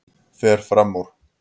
Fer fram úr.